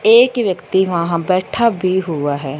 एक व्यक्ति वहां पर बैठा भी हुआ है।